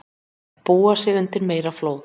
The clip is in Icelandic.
Búa sig undir meiri flóð